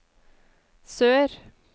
sør